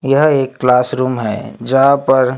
यह एक क्लासरूम है जहां पर--